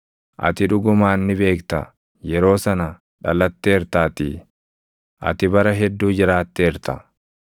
Ati dhugumaan ni beekta; yeroo sana dhalatteertaatii! Ati bara hedduu jiraatteerta!